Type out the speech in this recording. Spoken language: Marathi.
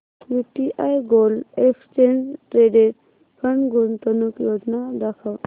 UTI gold exchange traded fund गुंतवणूक योजना दाखव